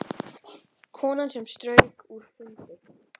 Konan sem strauk er fundin